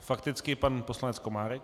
Fakticky pan poslanec Komárek.